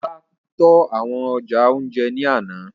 Ọlá tó àwọn ọjà ounjẹ ní àna